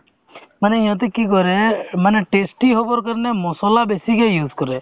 মানে সিহঁতে কি কৰে মানে testy হ'বৰ কাৰণে মছলা বেছিকে use কৰে